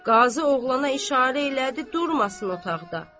Qazı oğlana işarə elədi durmasın otaqda.